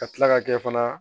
Ka tila ka kɛ fana